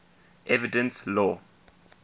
evidence law